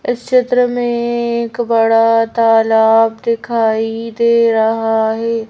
इस चित्र में एक बड़ा तालाब दिखाई दे रहा है।